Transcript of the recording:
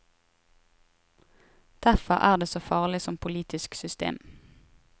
Derfor er det så farlig som politisk system.